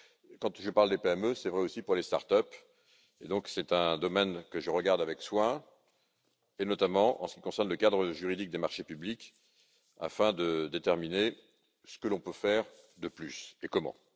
Quand je parle des PME, c'est vrai aussi pour les start ups, c'est donc un domaine que j'observe avec soin, notamment en ce qui concerne le cadre juridique des marchés publics, afin de déterminer ce que l'on peut faire de plus et comment.